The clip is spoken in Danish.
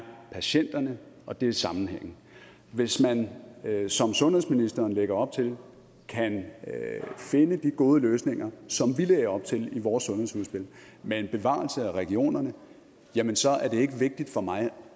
patienterne og det er sammenhængen hvis man som sundhedsministeren lægger op til kan finde de gode løsninger som vi lagde op til i vores sundhedsudspil med en bevarelse af regionerne jamen så er det ikke vigtigt for mig